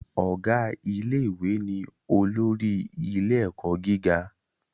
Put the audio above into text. Ọ̀gá ilé ìwé ni olórí ilé ẹ̀kọ́ gíga